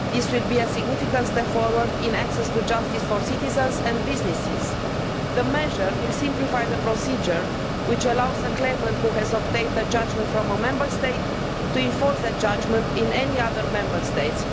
This will be a significant step forward in access to justice for citizens and businesses. The measure will simplify the procedure which allows a claimant who has obtained a judgement from a Member State to enforce that judgement in any other Member State.